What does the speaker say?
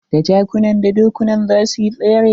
Da jakunan da dokunan za suyi tsere.